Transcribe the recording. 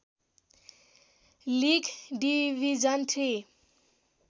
league division three